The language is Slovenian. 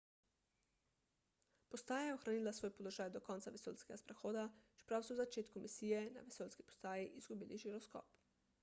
postaja je ohranila svoj položaj do konca vesoljskega sprehoda čeprav so v začetku misije na vesoljski postaji izgubili žiroskop